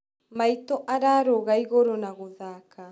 Maitũ ararũga igũrũ na gũthaka